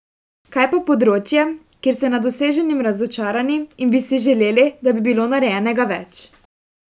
Kaj pa področje, kjer ste nad doseženim razočarani in bi si želeli, da bi bilo narejenega več?